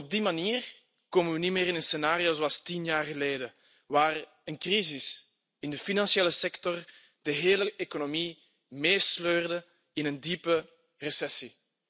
Want op die manier komen we niet meer in een scenario zoals dat van tien jaar geleden, toen een crisis in de financiële sector de hele economie meesleurde in een diepe recessie.